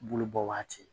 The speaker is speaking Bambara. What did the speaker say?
Bulu bɔ waati